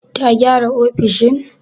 Ta gyara ofishin?